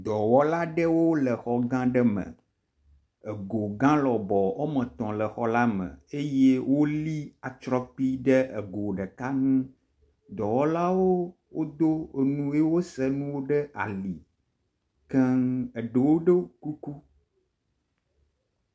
dɔwɔlawo le xɔ gã ɖe me ego gã lɔbɔ etɔ̃ le xɔla me eye woli atsrɔkpi ɖe ego ɖeka ŋu dɔwɔlawo wodó eŋu ye wose ŋuwo ɖe ali keŋ eɖewo ɖó kukj